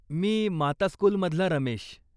मी माता स्कूलमधला रमेश.